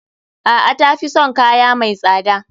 A'a. Tafi son kaya mai tsada.